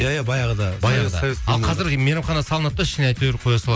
иә иә баяғыда баяғыда қазір майрамхана салынады да ішіне әйтеуір қоя салады